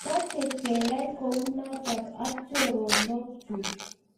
Mache keyai kunitok ak choronok chug